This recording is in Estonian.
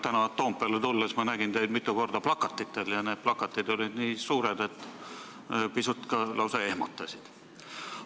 Täna Toompeale tulles nägin ma teid mitu korda plakatitel ja need plakatid olid nii suured, et pisut ehmatasid.